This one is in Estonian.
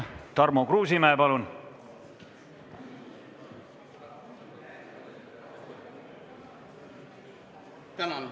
Tarmo Kruusimäe, palun!